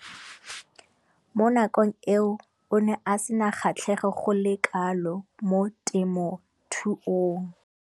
Mo nakong eo o ne a sena kgatlhego go le kalo mo temothuong.